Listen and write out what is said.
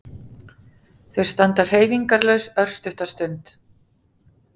Þau standa hreyfingarlaus örstutta stund.